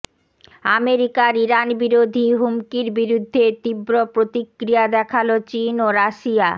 আমেরিকার ইরানবিরোধী হুমকির বিরুদ্ধে তীব্র প্রতিক্রিয়া দেখাল চীন ও রাশিয়া